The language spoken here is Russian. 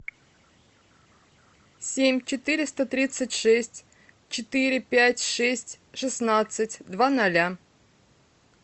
семь четыреста тридцать шесть четыре пять шесть шестнадцать два ноля